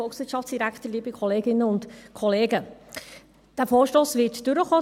Der Vorstoss wird durchkommen.